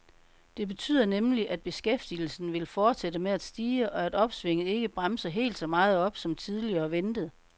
Det betyder nemlig, at beskæftigelsen vil fortsætte med at stige, og at opsvinget ikke bremser helt så meget op, som tidligere ventet.